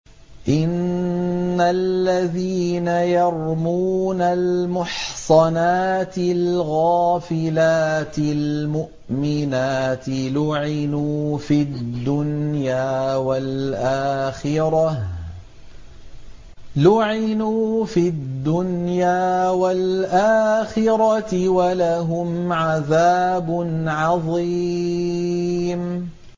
إِنَّ الَّذِينَ يَرْمُونَ الْمُحْصَنَاتِ الْغَافِلَاتِ الْمُؤْمِنَاتِ لُعِنُوا فِي الدُّنْيَا وَالْآخِرَةِ وَلَهُمْ عَذَابٌ عَظِيمٌ